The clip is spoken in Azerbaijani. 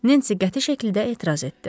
Nensi qəti şəkildə etiraz etdi.